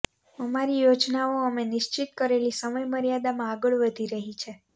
અમારી યોજનાઓ અમે નિશ્ચિત કરેલી સમયમર્યાદામાં આગળ વધી રહી છે